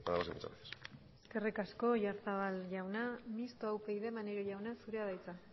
nada más y muchas gracias eskerrik asko oyarzabal jauna mistoa upyd maneiro jauna zurea da hitza